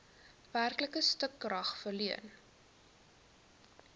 werklike stukrag verleen